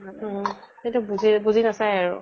উম । সেইটো বুজি বুজি নাচাই আৰু ।